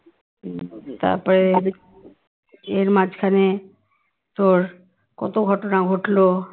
তারপরে এর মাঝখানে তোর কত ঘটনা ঘটলো